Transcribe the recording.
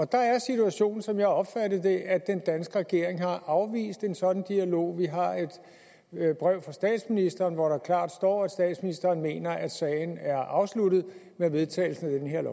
der er situationen som jeg opfatter den at at den danske regering har afvist en sådan dialog vi har et brev fra statsministeren hvor der klart står at statsministeren mener at sagen er afsluttet med vedtagelsen af det her